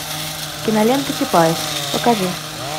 кинолента чапаев покажи